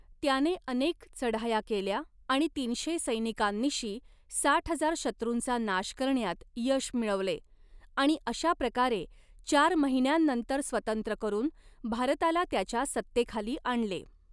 त्याने अनेक चढाया केल्या आणि तीनशे सैनिकांनिशी साठ हजार शत्रूंचा नाश करण्यात यश मिळवले, आणि अशा प्रकारे चार महिन्यांनंतर स्वतंत्र करून भारताला त्याच्या सत्तेखाली आणले.